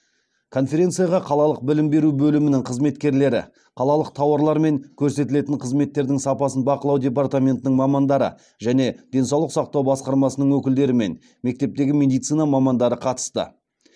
конференцияға қалалық білім беру бөлімінің қызметкерлері қалалық тауарлар мен көрсетілетін қызметтердің сапасын бақылау департаментінің мамандары және денсаулық сақтау басқармасының өкілдері мен мектептегі медицина мамандары қатысты